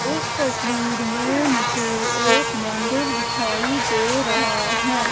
इस तस्वीर में मुझे एक मंदिर दिखाई दे रहा है।